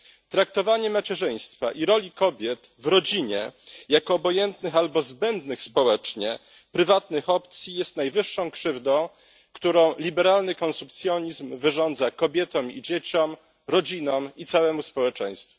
Traktowanie macierzyństwa i roli kobiet w rodzinie jako obojętnych albo zbędnych społecznie prywatnych opcji jest najwyższą krzywdą, którą liberalny konsumpcjonizm wyrządza kobietom, dzieciom, rodzinom i całemu społeczeństwu.